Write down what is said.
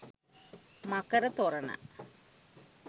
මකර තොරණ